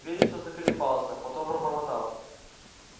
вересов заколебался потом пробормотал